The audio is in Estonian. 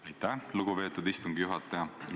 Aitäh, lugupeetud istungi juhataja!